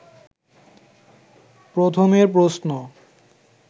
প্রথমের প্রশ্ন